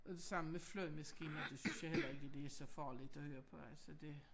Det samme med flyvemaskiner det synes jeg heller ikke det så farligt at høre på altså det